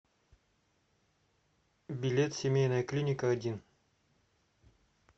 билет семейная клиника один